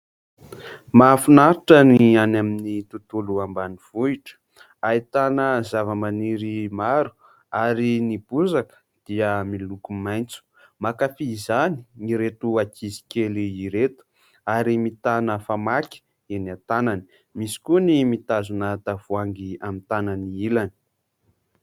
Mahafinaritra ny any amin'ny tontolo ambanivohitra. Ahitana zavamaniry maro ary ny bozaka dia miloko maitso. Mankafy izany ireto ankizikely ireto ary mitana famaky eny an-tanany, misy koa ny mitazona tavoahangy amin'ny tanany ilany.